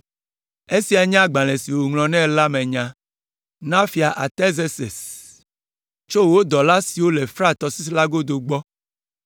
Esia nye agbalẽ si woŋlɔ nɛ la me nya. Na: Fia Artazerses. Tso: Wò dɔla siwo le Frat tɔsisi la godo gbɔ.